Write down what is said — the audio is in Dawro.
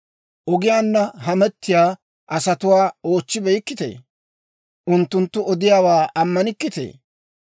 Ogiyaanna hamettiyaa asatuwaa oochchibeykkitee? Unttunttu odiyaawaa ammanikkitee?